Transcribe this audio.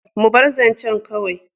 Mu bar zancen kawai.